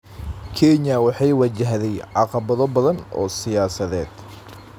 Kenya waxay wajahday caqabado badan oo siyaasadeed.